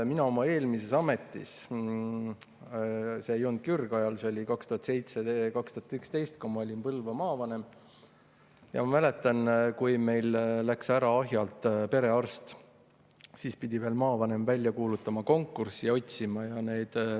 Oma eelmise ameti ajast – see ei olnudki ürgajal, see oli 2007–2011, kui ma olin Põlva maavanem – mäletan, et kui Ahjalt läks ära perearst, siis pidi maavanem välja kuulutama konkursi.